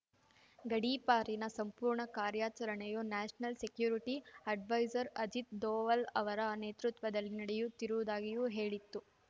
ಗಡೀಪಾರಿನ ಸಂಪೂರ್ಣ ಕಾರ್ಯಚರಣೆಯು national security adviser Ajit Doval ಅವರ ನೇತೃತ್ವದಲ್ಲಿ ನಡೆಯುತ್ತಿರುವುದಾಗಿಯೂ ಹೇಳಿತ್ತು